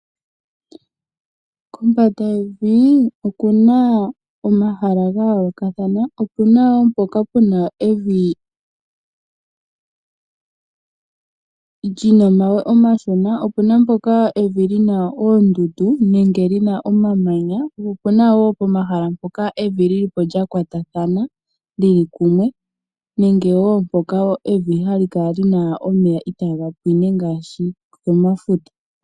Kombanda yevi okuna omahala ga yoolokathana okuna wo mpoka puna evi lyina omawe omashona ,opuna mpoka evi lyina oondundu nenge lina omamanya okuna omahala mpoka ga yoolokathana okuna wo mpoka puna evi lyina omawe omashona opuna mpoka evi lyina oondundu nenge lyina omamanya opuna eo mpoka evi lyi lipo lya li kumwe ano lya kwatathana nenge eo mpoka evi hali kala lyina omeya itaa ga pwine ngaashi komafuta.